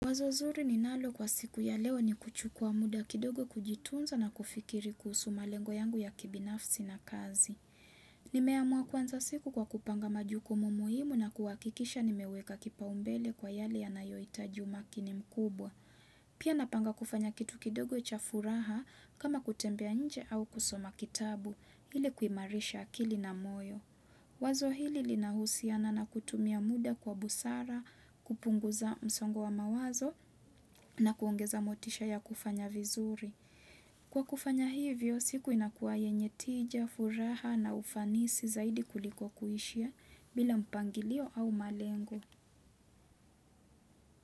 Wazo zuri ni nalo kwa siku ya leo ni kuchukua muda kidogo kujitunza na kufikiri kuhusu malengo yangu ya kibinafsi na kazi. Nimeamua kuanza siku kwa kupanga majukumu muhimu na kuhakikisha nimeweka kipaumbele kwa yale ya nayohita umakini mkubwa. Pia napanga kufanya kitu kidogo cha furaha kama kutembea nje au kusoma kitabu ili kuimarisha akili na moyo. Wazo hili li nahusiana na kutumia muda kwa busara, kupunguza msongo wa mawazo na kuongeza motisha ya kufanya vizuri. Kwa kufanya hivyo, siku inakuwa yenye tija, furaha na ufanisi zaidi kuliko kuishia bila mpangilio au malengo.